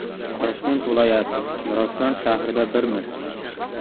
Toshkent viloyati, Nurafshon shahrida Birmiz!